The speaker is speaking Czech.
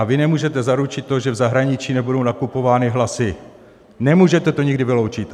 A vy nemůžete zaručit to, že v zahraničí nebudou nakupovány hlasy, nemůžete to nikdy vyloučit.